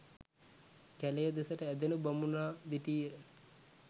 කැළය දෙසට ඇදෙනු බමුණා දිටීය.